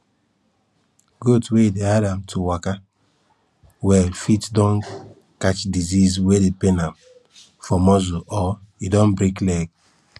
goat wey e dey hard am to waka well fit don catch disease wey dey pain am for muscle or e don break leg